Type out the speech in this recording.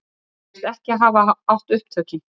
Segjast ekki hafa átt upptökin